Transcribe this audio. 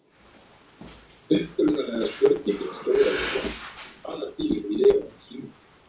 Upprunalega spurningin hljóðaði svona: Hvaða dýr lifa í Kína?